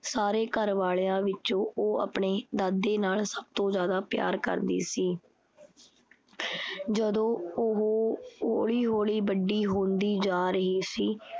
ਸਾਰੇ ਘਰ ਵਾਲਿਆਂ ਵਿੱਚੋਂ ਉਹ ਆਪਣੇ ਦਾਦੇ ਨਾਲ ਸਭ ਤੋਂ ਜ਼ਿਆਦਾ ਪਿਆਰ ਕਰਦੀ ਸੀ। ਜਦੋਂ ਉਹ ਹੌਲੀ-ਹੌਲੀ ਵੱਡੀ ਹੁੰਦੀ ਜਾ ਰਹੀ ਸੀ